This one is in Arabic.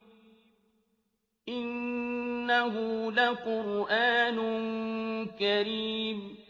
إِنَّهُ لَقُرْآنٌ كَرِيمٌ